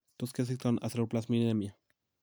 Tot kesiktoono aceruloplasminemia?